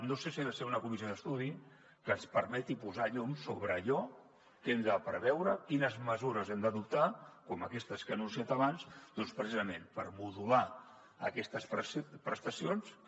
no sé si ha de ser una comissió d’estudi que ens permeti posar llum sobre allò que hem de preveure quines mesures hem d’adoptar com aquestes que ha anunciat abans doncs precisament per modular aquestes prestacions que